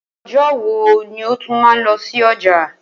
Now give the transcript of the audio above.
O̩jó̩ wo ni o tún máa lo̩ sí o̩jà?